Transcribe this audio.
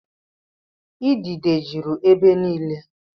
Idide jụrụ ebe niile.